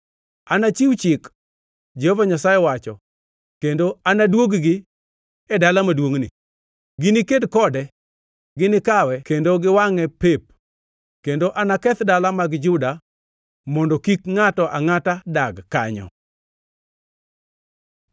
Anachiw chik, Jehova Nyasaye wacho, kendo anadwog-gi e dala maduongʼni. Giniked kode, ginikawe kendo giwangʼe pep. Kendo anaketh dala mag Juda mondo kik ngʼato angʼata dag kanyo.”